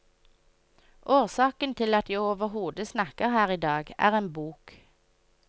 Årsaken til at jeg overhodet snakker her i dag, er en bok.